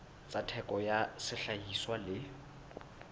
tsa theko ya sehlahiswa le